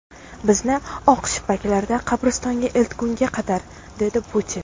Bizni oq shippaklarda qabristonga eltishgunga qadar”, dedi Putin.